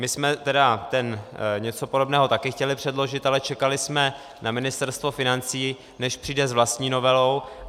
My jsme tedy něco podobného také chtěli předložit, ale čekali jsme na Ministerstvo financí, než přijde s vlastní novelou.